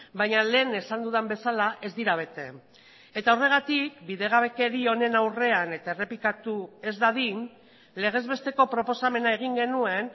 baina lehen esan dudan bezala ez dira bete eta horregatik bidegabekeri honen aurrean eta errepikatu ez dadin legez besteko proposamena egin genuen